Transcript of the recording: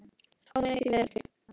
Ó nei, því miður ekki.